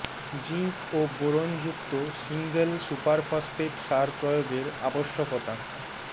zinc ও boron যুক্ত single super phosphate সার প্রয়োগের আবশ্যকতা